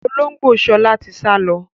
Olóngbó sọlá tí sálọ